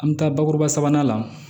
An bɛ taa bakuruba sabanan la